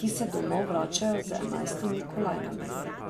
ki se domov vračajo z enajstimi kolajnami.